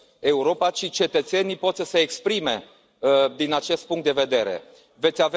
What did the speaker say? Europa, ci cetățenii pot să se exprime din acest punct de vedere Veți